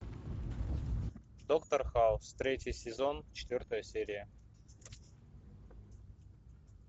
доктор хаус третий сезон четвертая серия